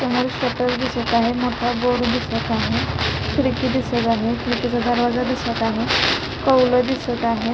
समोर शटर दिसत आहे मोठा बोर्ड दिसत आहे खिडकी दिसत आहे खिडकीचा दरवाजा दिसत आहे कौल दिसत आहेत.